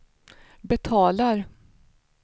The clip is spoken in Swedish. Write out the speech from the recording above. betalar